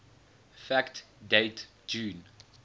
fact date june